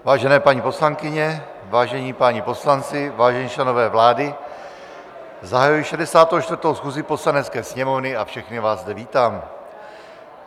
Vážené paní poslankyně, vážení páni poslanci, vážení členové vlády, zahajuji 64. schůzi Poslanecké sněmovny a všechny vás zde vítám.